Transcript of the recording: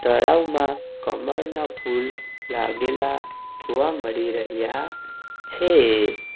તળાવમાં કમળના ફૂલ લાગેલા જોવા મળી રહ્યા છે.